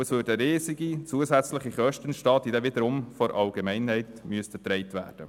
Es würden riesige zusätzliche Kosten entstehen, die wiederum von der Allgemeinheit getragen werden müssten.